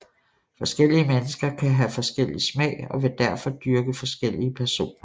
Forskellige mennesker kan have forskellig smag og vil derfor dyrke forskellige personer